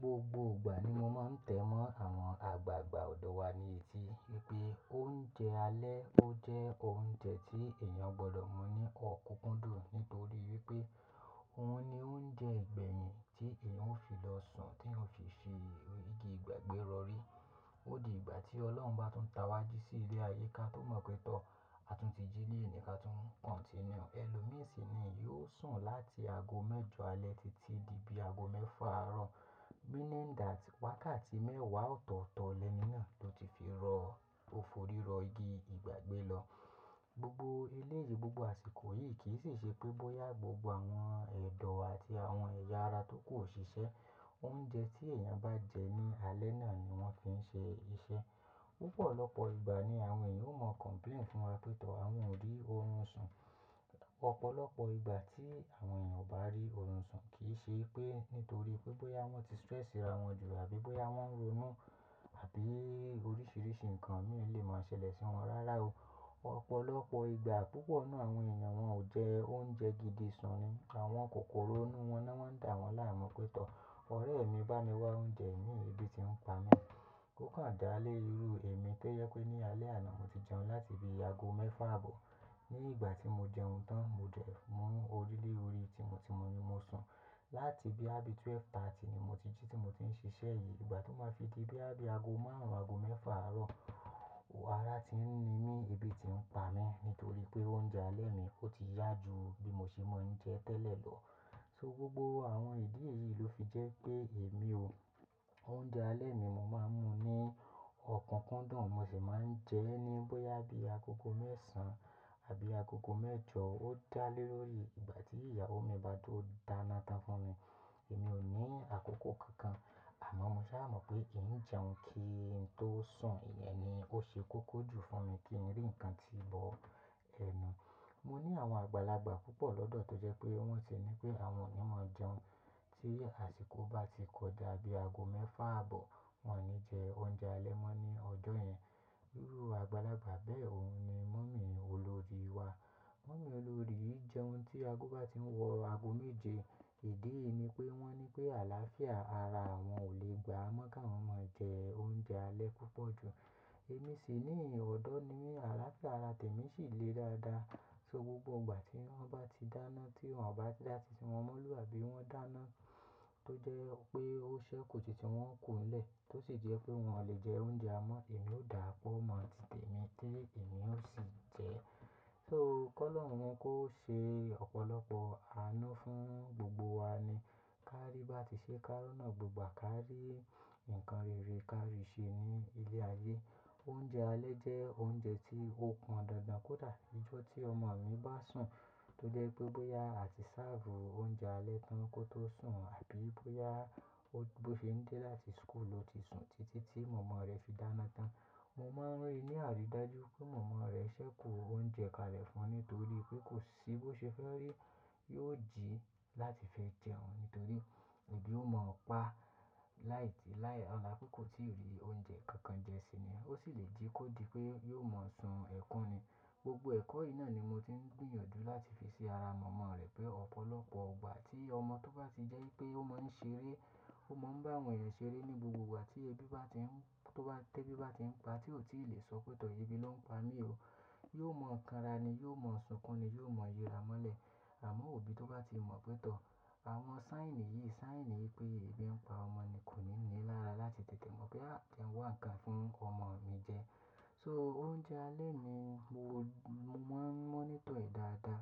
Gbogbo ìgbà ni mo máa ń tẹ́mọ́ àwọn àgbààgbà ọ̀dọ̀ wa ní etí wipé oúnjẹ alẹ́ ó jẹ́ oúnjẹ tí èèyàn gbọdọ̀ mú ní ọ̀kúkúndùn nítorí wipé òun ni oúnjẹ ìgbẹ̀yìn tí èèyàn ó fi lọ sùn, tí èèyàn ó fi ṣe igi ìgbàgbé rọrí. Ó di ìgbà tí Ọlọ́run bá tún tàwájí sí ilé ayé, ká tó mọ̀ pé tọ́ a tún ti jí ni ení ni ká tún continue. Ẹ̀lòmí sì ni yiò sùn láti ago mẹ́jọ alẹ́ títí di bí ago mẹ́fà àárọ̀. Meaning that wákàtí mẹ́wàá ọ̀tọ̀ọ̀tọ̀ lẹ́ni náà ló ti fi rọ́ lò foríro igi ìgbàgbé lọ. Gbogbo eleyìí, gbogbo àsìkò yìí kì í sì ṣe pé bóyá gbogbo àwọn ẹ̀dọ̀ àti àwọn ẹ̀yà ara tó kù o ṣiṣẹ́, oúnjẹ tí èèyàn bá jẹ ní alẹ́ náà ni wọ́n fi ń ṣe iṣẹ́. Púpọ̀ lọ́pọ̀ ìgbà ni àwọn èèyàn ó mọ̀ complain fún wa pé tọ́ àwọn ò rí oorun sùn. Ọ̀pọ̀lọpọ̀ ìgbà tí àwọn èèyàn ò bá rí oorun sùn, kì í ṣe pé nítorí pé bóyá wọ́n ti stress ara wọn jù àbí bóyá wọ́n ronú àbí oríṣiríṣi nǹkan mí ò le máa ṣẹlẹ̀ sí wọn rárá o. Ọ̀pọ̀lọpọ̀ ìgbà púpọ̀ nu àwọn èèyàn wọn ò jẹ oúnjẹ gidi sùn ni. Àwọn kòkoró inú wọn náà wọ́n ń dà wọ́n láàmú pé tọ́ ọ̀rẹ́ mi bá ni wá oúnjẹ mi, èébì ti ń pa mí. Ókàn dá lé irú èmi tó yẹ pé ní alẹ́ àná mo ti jẹun láti bí ago mẹ́fà àbọ̀. Ní ìgbà tí mo jẹun tán, mo dẹ̀ mú orí lé orí tí mo ti mọ̀ ni mo sùn. Láti ibi àbí twelve thirty ni mo ti jí tí mo ti ń ṣiṣẹ́ yìí. Ìgbà tó máa fi di ibi ago márùn-ún, ago mẹ́fà àárọ̀, ara ti ń ni mí, èébì ti ń pa mí nítorí pé oúnjẹ alẹ́ mi ó ti yá jù bí mo ṣe máa ń jẹ tẹ́lẹ̀ lọ. So gbogbo àwọn ìdí èyí ló fi jẹ́ pé èmi o, oúnjẹ alẹ́ mi mo máa ń mú ní ọ̀kúkúndùn, mo sì máa ń jẹ ẹ́ ní bóyá bí àgógò mẹ́ẹ̀sán àbí àgógò mẹ́jọ. Ó dá lé lórí ìgbà tí ìyàwó mi bá tó dáná tán fún mi. Èmi ò ní àkókò kankan, àmọ́ mo sá mọ̀ pé ì ń jẹun kí n tó sùn, ìyẹn ni ó ṣe kókó jù fún mi kí n rí nǹkan tí í bọ́ ẹnu. Mo ní àwọn àgbàlagbà púpọ̀ lọ́dọ̀ tó jẹ́ pé wọ́n sì ní pé àwọn ò ní mọ̀ jẹun. Tí àsìkò bá ti kọjá bí ago mẹ́fà àbọ̀, wọ́n ò ní jẹ oúnjẹ alẹ́ mọ́ ní ọjọ́ yẹn. Irú àgbàlagbà bẹ́ẹ̀ òun ni mummy olórí wa. Mummy olórí e jẹun tí ago bá ti ń wọ̀ ago méje. Ìdí ni pé wọ́n ní pé àlàáfíà ara àwọn ò lè gbà á mọ́ ká wọ́n máa jẹ oúnjẹ alẹ́ púpọ̀ jù. Èmi sì níyii ọ̀dọ́ ni mi àlàáfíà ara tèmi sì le dáadáa. So gbogbo ìgbà tí wọ́n bá ti dáná tí wọ́n ò bá dá títí wọ́n mona àbí wọ́n dáná tó jẹ́ pé ó ṣẹ́ kù títi wọn kú ńlẹ̀ tó sì jẹ́ pé wọn lè jẹ oúnjẹ á mọ́, èmi ó dàá pó mo ti tèmi tí èmi ó sì jẹ́. So kọ́ ọlọ́run yẹn kó ṣe ọ̀pọ̀lọpọ̀ àánú fún gbogbo wa ni ká rí bá ti ṣe ká roná gbegba kárí nǹkan rere ká rí ṣe ní ilé ayé. Oúnjẹ alẹ́ jẹ́ oúnjẹ tí ó pọn dandan kó dà. Ìjọ́ tí ọmọ mi bá sùn tó jẹ́ pé bóyá àti serve oúnjẹ alẹ́ tán kó tó sùn àbí bóyá ó bó n ṣe ń dé láti school ló ti sùn títí tí mọ̀mọ́ rẹ̀ fi dáná tán. Mo máa ń rí ní àríí dájú pé mọ̀mọ́ rẹ̀ ṣẹ́kù oúnjẹ kalẹ̀ fún un nítorí pé kò sí bó ṣe fẹ́ rí yiò jí láti fẹ́ jẹun nítorí èébì ó mọ̀ ọ́ pa láìdí láì ọlá pé kò tí ò rí oúnjẹ kankan jẹ síi ni. Ó sì lè jí kó di pé yiò mọ̀ sùn ẹ̀kún ni. Gbogbo ẹ̀kọ́ yìí náà ni mo ti ń gbìyànjú láti fi ṣi ara mọ̀mọ́ rẹ̀ pé ọ̀pọ̀lọpọ̀ ìgbà tí ọmọ tó bá ti jẹ́ pé ó máa ń ṣeré, ó máa ń bá àwọn èèyàn ṣeré ní gbogbo ìgbà tí èébì bá ti ń tó bá tẹ́ èébì bá ti ń pa tí ò tí lè sọ pé tọ́ èébì ló ń pa mí o. Yóò mọ̀ kanra ni, yóò mọ̀ sunkún ni, yóò mọ̀ yiramọ́lẹ̀. Àmọ́ òbí tó bá ti mọ̀ pé tọ́ àwọn sign niyìí, sign wí pé èébì ń pa ọmọ ni kò ní ní lára láti tètè mọ̀ pé à je n wá nǹkan fún ọmọ mi jẹ. So oúnjẹ alẹ́ mi mo máa ń mọ́nítọ̀ ẹ̀ dáadáa.